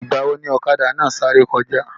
Ìgbàwo ni ọ̀kadà náà sáré kọjá?